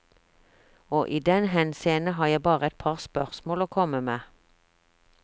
Og i den henseende har jeg bare et par spørsmål å komme med.